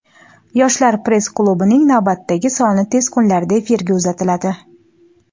"Yoshlar press klubi"ning navbatdagi soni tez kunlarda efirga uzatiladi.